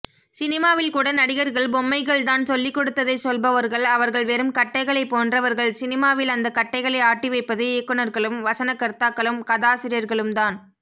சினிமாவில்கூட நடிகர்கள் பொம்மைகள்தான் சொல்லிக்கொடுத்ததை சொல்பவர்கள் அவர்கள் வெறும் கட்டைகளைப்போன்றவர்கள் சினிமாவில் அந்த கட்டைகளை ஆட்டிவைப்பது இயக்குனர்களும் வசனகர்த்தாக்களும் கதாசிரியர்களும்தான்